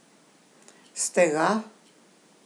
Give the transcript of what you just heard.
Ste ga?